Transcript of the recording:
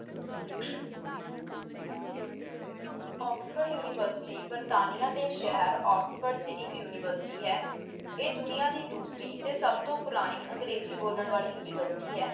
Oxford university ਬਰਤਾਨੀਆ ਦੇ ਸ਼ਿਹਰ ਓਕ੍ਸ੍ਫੋਰਡ ਵਿਚ ਇਕ university ਐ ਇਹ ਦੁਨਿਯਾ ਦੀ ਦੂਸਰੀ ਤੇ ਸੱਭ ਤੋਂ ਪੁਰਾਨੀ ਅੰਗ੍ਰੇਜ਼ੀ ਬੋਲਣ ਵਾਲੀ university ਹੈ